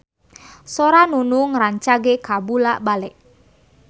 Sora Nunung rancage kabula-bale